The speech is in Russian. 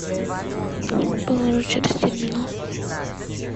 положить через терминал